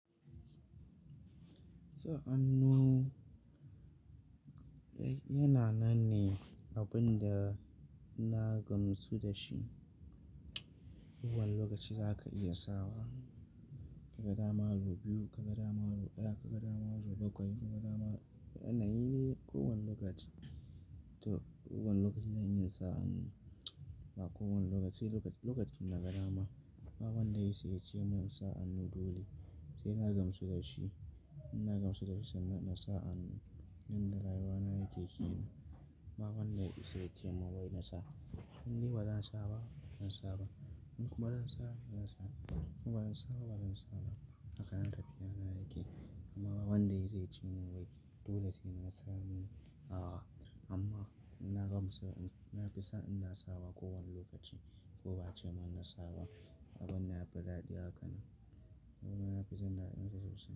Sa'an nan yana nan ne abin da na gamsu dashi. Ko wane lokaci za ka iya sawa. Ka ga dama da biyu, ka ga dama da ɗaya, ka ga dama da bakwai, ka ga dama, wannan na yi ne kowane lokaci. To kowani lokaci zan iya sa amun. Ba kowane lokaci, sai lokacin na ga dama. Abin da ya yi sai ya ce mun sa'an nan dole sai na gamsu da shi. Na gamsu da shi sannan na sa a mun. Yanda rayuwa na yake kenan. Abin da ya yi sai ya ce mun wai na sa. Ni ba zan sa ba, ban sa ba. In kuma zan sa, zan sa ja. Kuma ban sa ba, ban sa ba. A kan haka tafiya na yake. Amma wanda ya yi zai ce mun wai dole sai na sa hannu. A'a amma na gamsu, na fi son ina sawa kowane lokaci ko ba a ce mun na sawa abin da ya faɗaɗe a kan nan. Kuma na fi son na iya tafiya sosai.